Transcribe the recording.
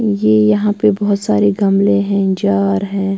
ये यहां पे बहुत सारे गमले हैं जार हैं।